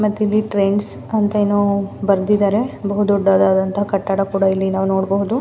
ಮತ್ತಿಲ್ಲಿ ಟ್ರೆಂಡ್ಸ್ ಅಂತ ಏನೋ ಬರೆದಿದ್ದಾರೆ ಬಹು ದೊಡ್ಡದಾದಂತ ಕಟ್ಟಡ ಕೂಡ ಇಲ್ಲಿ ನಾವು ನೋಡಬಹುದು.